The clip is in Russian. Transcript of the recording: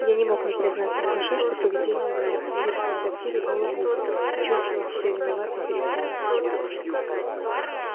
я не мог не признаться в душе что поведение моё в симбирском трактире было глупо и чувствовал себя виноватым перед савельичем